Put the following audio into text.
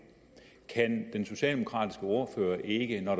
kan den socialdemokratiske ordfører ikke når